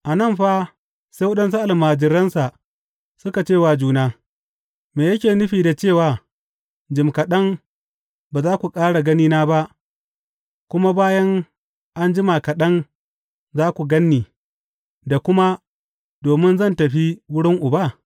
A nan fa sai waɗansu almajiransa suka ce wa juna, Me yake nufi da cewa, Jim kaɗan ba za ku ƙara ganina ba, kuma bayan an jima kaɗan, za ku gan ni,’ da kuma, Domin zan tafi wurin Uba’?